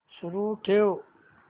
सुरू ठेव